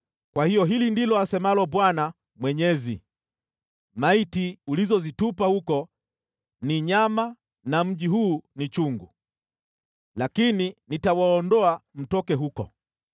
“Kwa hiyo hili ndilo asemalo Bwana Mwenyezi: maiti ulizozitupa huko ni nyama na mji huu ni chungu, lakini nitawaondoa mtoke huko.